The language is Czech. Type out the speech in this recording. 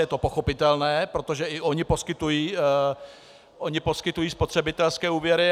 Je to pochopitelné, protože i ony poskytují spotřebitelské úvěry.